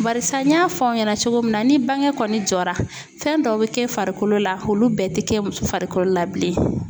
Barisa n y'a fɔ aw ɲɛna cogo min na ni bange kɔni jɔra fɛn dɔw bɛ kɛ farikolo la olu bɛɛ tɛ kɛ muso farikolo la bilen.